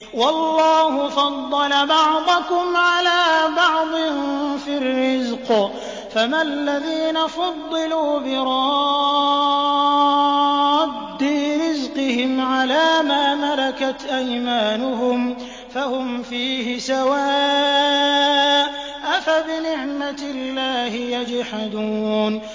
وَاللَّهُ فَضَّلَ بَعْضَكُمْ عَلَىٰ بَعْضٍ فِي الرِّزْقِ ۚ فَمَا الَّذِينَ فُضِّلُوا بِرَادِّي رِزْقِهِمْ عَلَىٰ مَا مَلَكَتْ أَيْمَانُهُمْ فَهُمْ فِيهِ سَوَاءٌ ۚ أَفَبِنِعْمَةِ اللَّهِ يَجْحَدُونَ